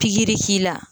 Pikiri k'i la